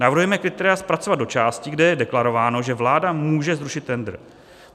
Navrhujeme kritéria zapracovat do části, kde je deklarováno, že vláda může zrušit tendr.